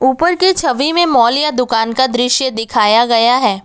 ऊपर की छवि में मॉल या दुकान का दृश्य दिखाया गया है।